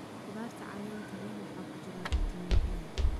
Khudaarta caleenta leh waxaa ku jira fitamiin A.